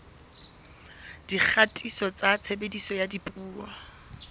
dikgatiso tsa tshebediso ya dipuo